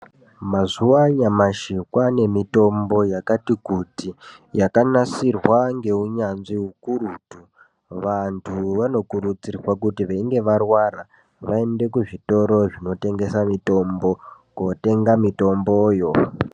Mazuwa anyamashi kwaane mitombo yakati kuti , yakanasirwa ngeunyanzvi ukurutu. Vantu vanokurudzirwa kuti veinge varwara, vaende kuzvitoro zvinotengesa, mitombo kootenga mitomboyo.